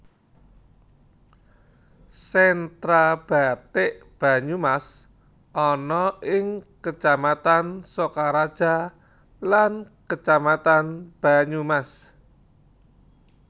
Sentra bathik Banyumas ana ing Kecamatan Sokaraja lan Kecamatan Banyumas